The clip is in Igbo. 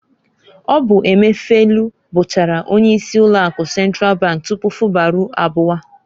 Ọ bu Emefielu bụchara onye isi ụlọ akụ Sentral bank tupu Fubara abụwa.